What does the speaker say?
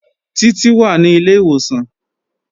Títí wà ní ilé ìwòsàn